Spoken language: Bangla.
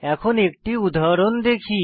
এখন একটি উদাহরণ দেখি